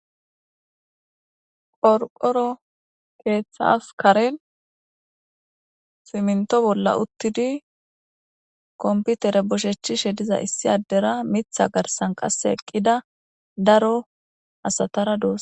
qorqoro keeththas karen siminto bolla uttidi komputere boshechishe diza issi addera mitha garsan qasse eqqida daro asatara dos